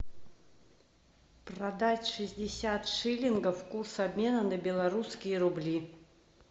продать шестьдесят шиллингов курс обмена на белорусские рубли